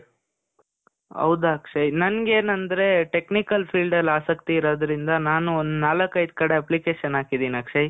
ಹೌದು ಅಕ್ಷಯ್. ನನ್ಗೆನಂದ್ರೆ, technical field ಅಲ್ಲಿ ಆಸಕ್ತಿ ಇರೋದ್ರಿಂದ ನಾನು ಒಂದ್ ನಾಲಕೈದ್ ಕಡೆ application ಹಾಕಿದ್ದೀನಿ ಅಕ್ಷಯ್.